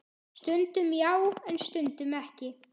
Stundum já, en stundum ekki.